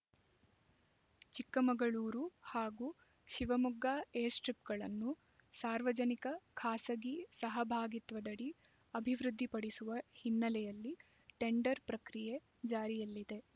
ಚಿಕ್ಕಮಗಳೂರು ಹಾಗೂ ಶಿವಮೊಗ್ಗ ಏರ್‌ಸ್ಟ್ರಿಪ್‌ಗಳನ್ನು ಸಾರ್ವಜನಿಕ ಖಾಸಗಿ ಸಹಭಾಗಿತ್ವದಡಿ ಅಭಿವೃದ್ಧಿಪಡಿಸುವ ಹಿನ್ನೆಲೆಯಲ್ಲಿ ಟೆಂಡರ್ ಪ್ರಕ್ರಿಯೆ ಜಾರಿಯಲ್ಲಿದೆ